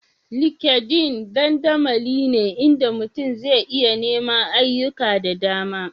LinkedIn dandamali ne inda mutum zai iya neman ayyuka da dama